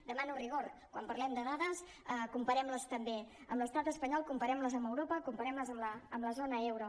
demano rigor quan parlem de dades comparem les també amb l’estat espanyol comparem les amb europa comparem les amb la zona euro